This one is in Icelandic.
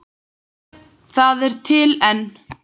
Það er til enn.